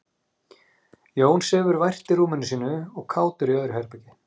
Jón sefur vært í rúminu sínu og Kátur í öðru herbergi.